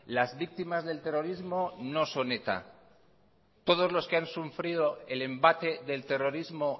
las víctimas del terrorismo no son eta todos los que han sufrido el embate del terrorismo